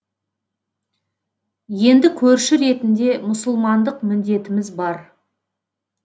енді көрші ретінде мұсылмандық міндетіміз бар